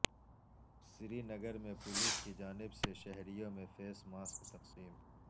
سرینگر میں پولیس کی جانب سے شہریوں میں فیس ماسک تقسیم